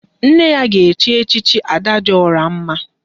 Nne ya ga echi echichi Ada dị ọra mma